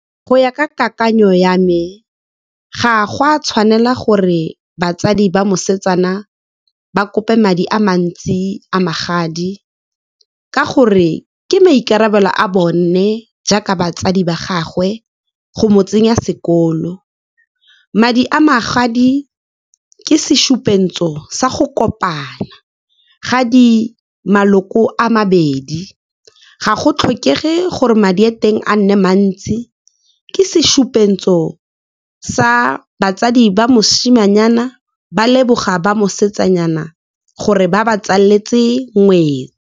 Go ya ka kakanyo ya me, ga go a tshwanela gore batsadi ba mosetsana ba kope madi a mantsi a magadi, ka gore ke maikarabelo a bone jaaka batsadi ba gagwe go mo tsenya sekolo. Madi a magadi ke sa go kopana ga maloko a mabedi. Ga go tlhokege gore madi a teng a nne mantsi, ke sa batsadi ba mosimanyana ba leboga ba mosetsanyana gore ba ba tsaletse ngwetsi.